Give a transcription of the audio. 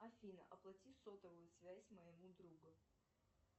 афина оплати сотовую связь моему другу